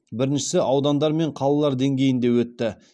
біріншісі аудандар мен қалалар деңгейінде өтті